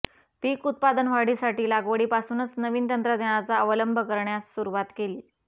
पीक उत्पादनवाढीसाठी लागवडीपासूनच नवीन तंत्रज्ञानाचा अवलंब करण्यास सुरवात केली